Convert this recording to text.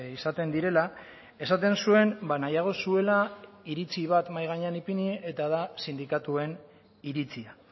izaten direla esaten zuen nahiago zuela iritzi bat mahai gainean ipini eta da sindikatuen iritzia